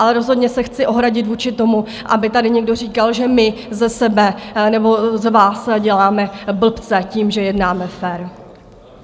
Ale rozhodně se chci ohradit vůči tomu, aby tady někdo říkal, že my ze sebe nebo z vás děláme blbce tím, že jednáme fér.